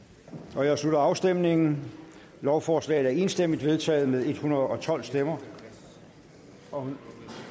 jeg slutter afstemningen lovforslaget er enstemmigt vedtaget med en hundrede og tolv stemmer og vil